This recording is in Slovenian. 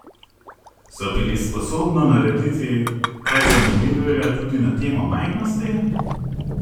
So bili sposobno narediti kaj zanimivega tudi na temo majhnosti?